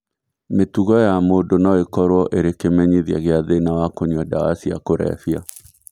Mĩtugo ya mũndũ no ĩkorũo ĩrĩ kĩmenyithia gĩa thĩna wa kũnyua ndawa cia kũrebia.